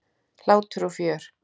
Hlátur og fjör.